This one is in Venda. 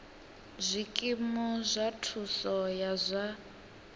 zwikimu zwa thuso ya zwa